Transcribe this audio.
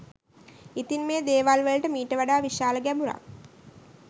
ඉතින් මේ දේවල් වලට මීට වඩා විශාල ගැඹුරක්